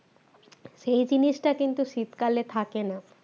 সেই জিনিসটা কিন্তু শীতকালে থাকে না